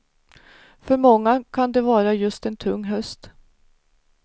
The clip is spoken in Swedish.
För många kan det vara just en tung höst.